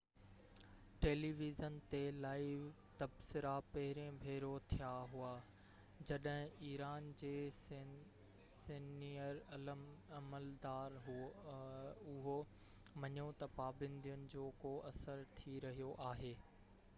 tele vision تي live تبصرا پهرين ڀيرو ٿيا هئا جڏهن ايران جي سينيئر عملدار اهو مڃيو تہ پابندين جو ڪو اثر ٿي رهيو آهي